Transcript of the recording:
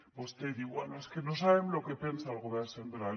vostè diu bé és que no sabem lo que pensa el govern central